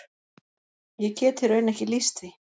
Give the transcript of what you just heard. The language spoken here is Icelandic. Ég get í raun ekki lýst því.